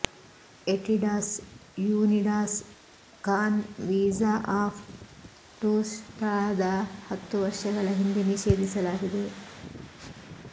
ಎಟಿಡಾಸ್ ಯೂನಿಡಾಸ್ ಕಾನ್ visa of ಟೂರ್ಸ್ಟಾದ ಹತ್ತು ವರ್ಷಗಳ ಹಿಂದೆ ನಿಷೇಧಿಸಲಾಗಿದೆ